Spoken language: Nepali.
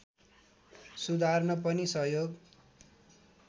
सुधार्न पनि सहयोग